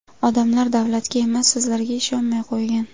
Odamlar davlatga emas, sizlarga ishonmay qo‘ygan.